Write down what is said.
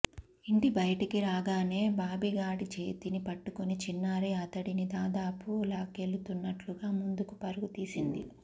ఇంటి బయటికి రాగానే బాబిగాడి చేతిని పట్టుకుని చిన్నారి అతడిని దాదాపు లాక్కెళుతున్నట్టుగా ముందుకు పరుగు తీసింది